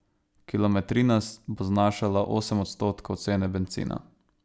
Kilometrina bo znašala osem odstotkov cene bencina.